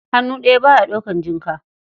Hannu ɗaya, ba ya ɗaukar jinka.